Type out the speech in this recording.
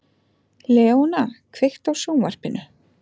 Leóna, kveiktu á sjónvarpinu.